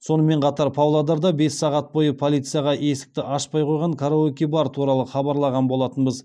сонымен қатар павлодарда бес сағат бойы полицияға есікті ашпай қойған караоке бар туралы хабарлаған болатынбыз